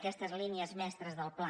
aquestes línies mestres del pla